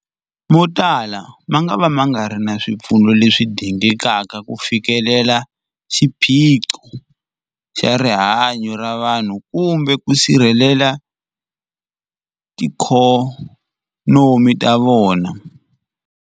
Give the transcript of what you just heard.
Motala mangava ma nga ri na swipfuno leswi dingekaka ku fikelela xiphiqo xa rihanyu ra vanhu kumbe ku sirhelela tiikhonomi ta vona.